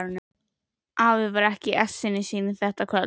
Afi var ekki í essinu sínu þetta kvöld.